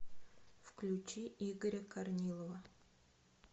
включи игоря корнилова